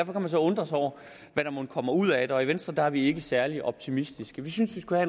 man så undre sig over hvad der mon kommer ud af det og i venstre er vi ikke særlig optimistiske vi synes vi skulle